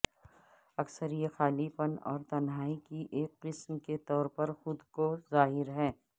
اکثر یہ خالی پن اور تنہائی کی ایک قسم کے طور پر خود کو ظاہر